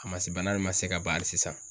A ma se bana nin ma se ka ban hali sisan.